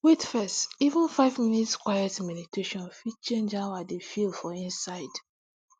wait fess even five minutes quiet meditation fit change how i dey feel for inside